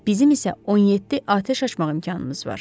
Bizim isə 17 atəş açmaq imkanımız var.